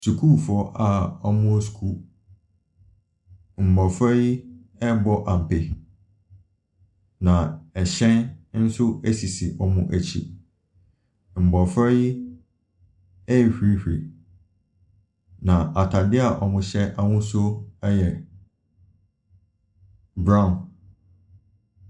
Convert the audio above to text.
Sukuufoɔ a wɔwɔ sukuu, mmɔfra yi rebɔ ampe. Na ɛhyɛn nso sisi wɔn akyi. Mmɔfra yi rehurihuri, na atadeɛ a wɔhyɛ ahosuo yɛ brown.